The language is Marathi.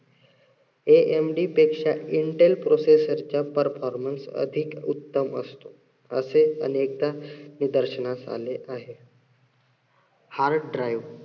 amd पेक्ष्या intel processor च्या performance अधिक उत्तम असतो. असे अनेकदा निदर्शनास आले आहे. hard drive